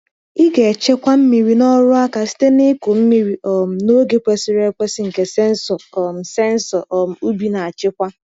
Ị ga-echekwa mmiri na ọrụ aka site n’ịkụ mmiri um n’oge kwesịrị ekwesị nke sensọ um sensọ um ubi na-achịkwa.